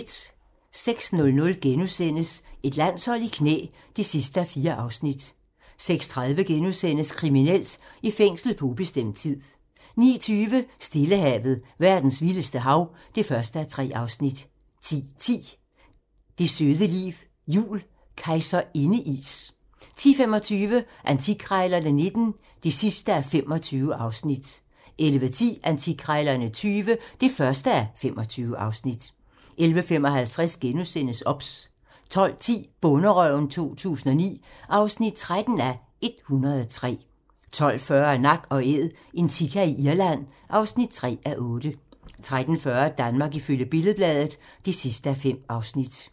06:00: Et landshold i knæ (4:4)* 06:30: Kriminelt: I fængsel på ubestemt tid * 09:20: Stillehavet - verdens vildeste hav (1:3) 10:10: Det søde liv jul - Kejserindeis 10:25: Antikkrejlerne XIX (25:25) 11:10: Antikkrejlerne XX (1:25) 11:55: OBS * 12:10: Bonderøven 2009 (13:103) 12:40: Nak & Æd - en sika i Irland (3:8) 13:40: Danmark ifølge Billed-Bladet (5:5)